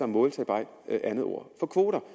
måltal bare et andet ord for kvoter